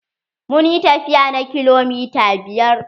Mun yi tafiya na kilomita biyar.